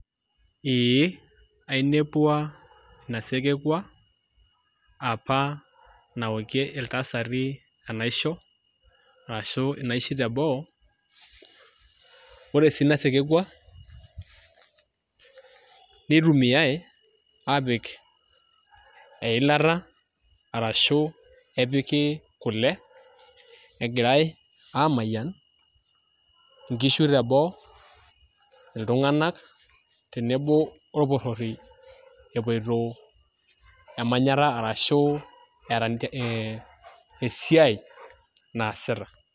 Ee ainepuo inasesekwa apa naokie iltasati enaisho ashu naishi teboo ore si inasesekwa nitumiai apik eilata ashu epiki kule egirai amayian nkishu teboo ltunganak tenebo orporori epoito emanyatta ashu epoitoil esiai naasita.